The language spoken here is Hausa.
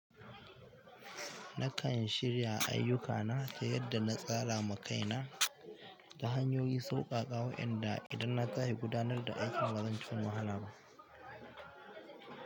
Na kan shirya ayyukana ta yadda na tsara ma kaina ta hanyoyi sauƙaƙa wa'yanda idan na tashi gudanar da aikin ba zan ci wahala ba.